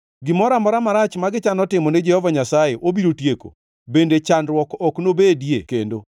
Gimoro amora marach ma gichano timo ni Jehova Nyasaye obiro tieko; bende chandruok ok nobedie kendo.